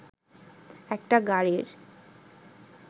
একটা গাড়ির